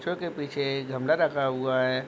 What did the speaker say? बच्चो के पीछे गमला रखा हुआ है।